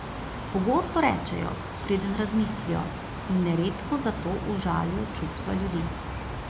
Pogosto rečejo, preden razmislijo, in neredko zato užalijo čustva ljudi.